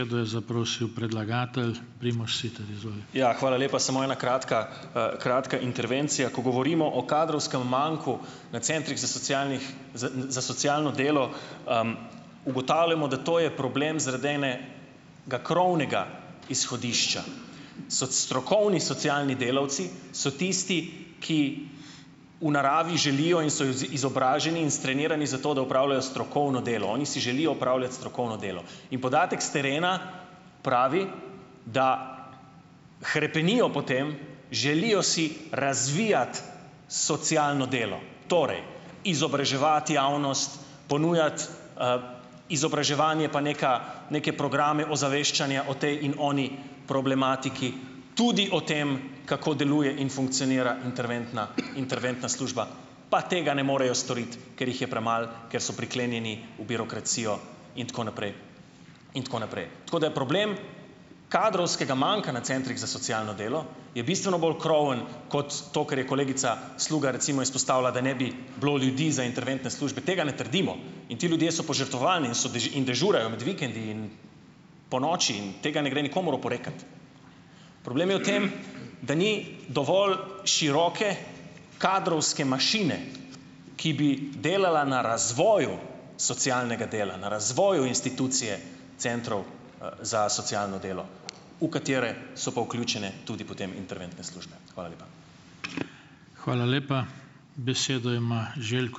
je zaprosil predlagatelj. Primož Siter. Izvolite. Ja, hvala lepa, samo ena kratka, kratka intervencija. Ko govorimo o kadrovskem manku na Centrih za socialnih, za socialno delo, ugotavljamo, da to je problem zaradi ene ga krovnega izhodišča. So strokovni socialni delavci, so tisti, ki v naravi želijo in so izobraženi in strenirani, zato da opravljajo strokovno delo. Oni si želijo opravljati strokovno delo. In podatek s terena pravi, da hrepenijo po tem, želijo si razvijati socialno delo. Torej, izobraževati javnost, ponujati, izobraževanje pa neka, neke programe ozaveščanja o tej in oni problematiki. Tudi o tem, kako deluje in funkcionira interventna, interventna služba. Pa tega ne morejo storiti, ker jih je premalo, ker so priklenjeni v birokracijo in tako naprej. In tako naprej. Tako da problem kadrovskega manka na Centrih za socialno delo je bistveno bolj kroven, kot to, kar je kolegica Sluga recimo izpostavila, da ne bi bilo ljudi za interventne službe. Tega ne trdimo. In ti ljudje so požrtvovalni in so in dežurajo med vikendi in ponoči in tega ne gre nikomur oporekati. Problem je v tem , da ni dovolj široke kadrovske mašine, ki bi delala na razvoju socialnega dela. Na razvoju institucije centrov, za socialno delo, v katere so pa vključene tudi potem interventne službe. Hvala lepa. Hvala lepa. Besedo ima ...